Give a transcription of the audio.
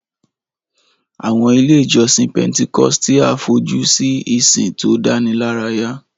Àwọn ilé ìjọsìn Pentecostal fojú sí ìsìn tó dánilárayá.